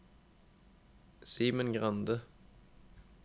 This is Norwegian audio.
Simen Grande